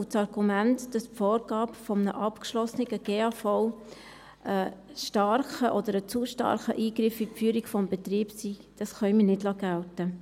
Das Argument, dass die Vorgabe eines abgeschlossenen GAV ein starker oder zu starker Eingriff in die Führung des Betriebs sei, können wir nicht gelten lassen.